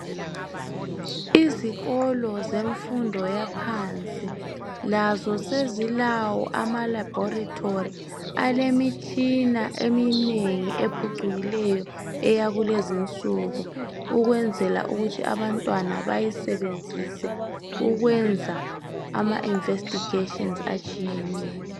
Izikolo zemfundo yaphansi lazo sezilawo amalabhorithori alemitshina eminengi ephucukileyo eyakulezi insuku ukwenzela ukuthi abantwana bayisebenzise ukwenza ama investigations atshiyeneyo.